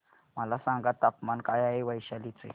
मला सांगा तापमान काय आहे वैशाली चे